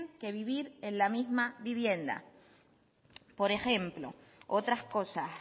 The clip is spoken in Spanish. que vivir en la misma vivienda por ejemplo otras cosas